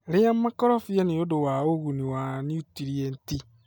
Ria makorobia nĩ ũndũ wa ũguni wa niutrienti.